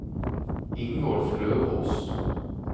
Ingolf Løvås